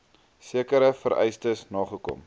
sekere vereistes nagekom